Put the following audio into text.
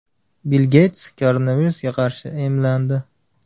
Bill Geyts koronavirusga qarshi emlandi.